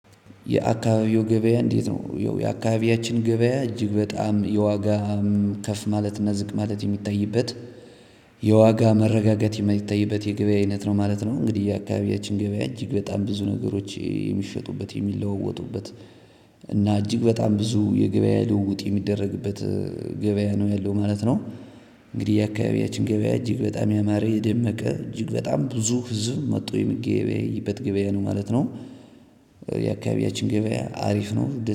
የአካባቢዎ ገበያ እንዴት ነው? የአካባቢያችን ገበያ እጅግ በጣም የዋጋ ከፍ ማለት እና ዝቅ ማለት የሚታይበት የዋጋ መረጋጋት የማይታይበት የገበያ አይነት ነው ማለት ነው። እንግዲህ የአካባቢያችን ገበያ እጅግ በጣም ብዙ ነገሮች የሚሸጡበት የሚለዋወጡበት እና እጅግ በጣም ብዙ የገበያ ልውውጥ የሚደረግበት ገበያ ነው ያለው ማለት ነው። እንግዲህ የአካባቢያችን ገበያ እጅግ በጣም ያማረ የደመቀ እጅግ በጣም ብዙ ህዝብ መጥቶ የሚገበያይበት ገበያ ነው ማለት ነው። የአካባቢያችን ገበያ አሪፍ ነው